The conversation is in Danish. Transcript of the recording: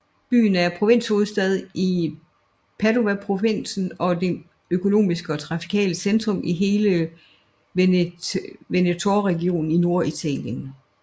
Byen er provinshovedstad i Padovaprovinsen og det økonomiske og trafikale centrum i hele Venetoregionen i Norditalien